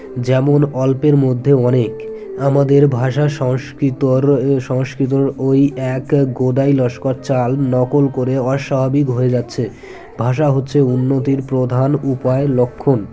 যেমন অল্পের মধ্যে অনেক আমাদের ভাষা সংস্কৃতর সংস্কৃতর ঐ এক গোদাই লস্কর চাল নকল করে অস্বাভাবিক হয়ে যাচ্ছে ভাষা হচ্ছে উন্নতির প্রধান উপায় লক্ষন